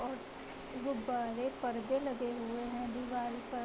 और गुब्ब्बारे पर्दे लगे हुए है दिवाल पर |